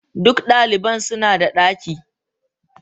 Duk daliban suna da daki.